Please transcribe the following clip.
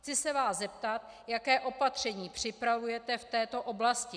Chci se vás zeptat, jaká opatření připravujete v této oblasti.